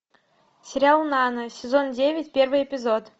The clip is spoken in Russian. сериал нана сезон девять первый эпизод